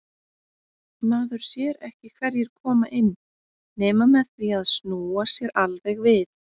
Maður sér ekki hverjir koma inn nema með því að snúa sér alveg við.